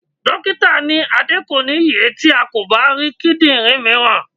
Dókítà ní Adé kò ní ye tí a kò bá rí kíndìnrín mìíràn.